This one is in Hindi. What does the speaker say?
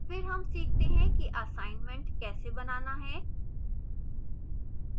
फिर हम सीखते हैं कि assignment कैसे बनाना है